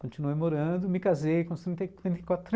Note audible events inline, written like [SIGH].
Continuei morando, me casei com trinta [UNINTELLIGIBLE]